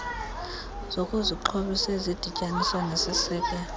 zokuzixhobisa ezidityaniswa nesiseko